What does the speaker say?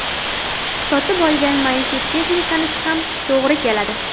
Sotib olgan maishiy texnikaniki ham to‘g‘ri keladi.